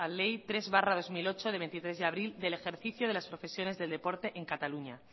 ley tres barra dos mil ocho de veintitrés de abril del ejercicio de las profesiones del deporte en cataluña